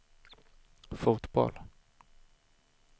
fotboll